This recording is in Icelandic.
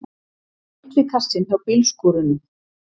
Litli kassinn hjá bílskúrunum!